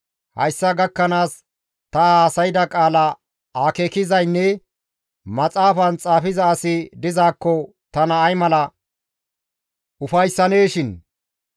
Hayssa gakkanaas ta haasayda qaala akeekizaynne maxaafan xaafiza asi dizaakko tana ay mala ufayssaneeshin!